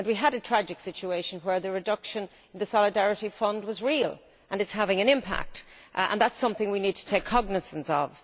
We have had a tragic situation in that the reduction in the Solidarity Fund was real, and is having an impact, and that is something we need to take cognisance of.